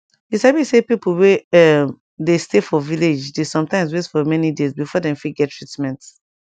you sabi say pipo wey erm dey stay for village dey sometimes wait for many days before dey fift get treatment